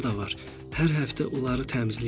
Hər həftə onları təmizləyirəm.